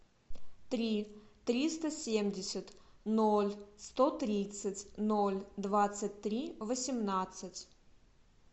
три триста семьдесят ноль сто тридцать ноль двадцать три восемнадцать